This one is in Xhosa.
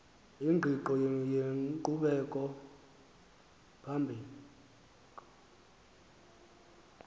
ingqiqo yenkqubela phambili